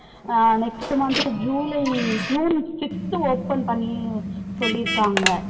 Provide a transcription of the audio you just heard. அஹ் next month July June fifth open பண்ணி சொல்லிருக்காங்க